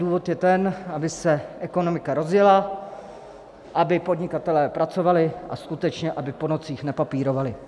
Důvod je ten, aby se ekonomika rozjela, aby podnikatelé pracovali a skutečně aby po nocích nepapírovali.